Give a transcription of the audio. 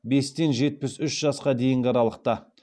бестен жетпіс үш жасқа дейінгі аралықта